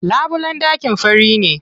Labulen ɗakin fari ne.